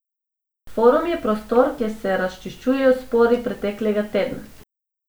Forum je prostor, kjer se razčiščujejo spori preteklega tedna.